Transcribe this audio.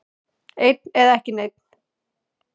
Einn eða ekki einn.